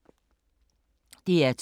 DR2